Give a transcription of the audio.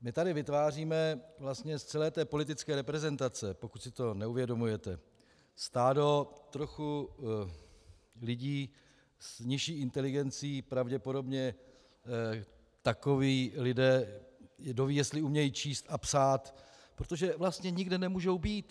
My tady vytváříme vlastně z celé té politické reprezentace, pokud si to neuvědomujete, stádo trochu lidí s nižší inteligencí pravděpodobně, takoví lidé, kdoví jestli umějí číst a psát, protože vlastně nikde nemůžou být.